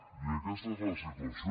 i aquesta és la situació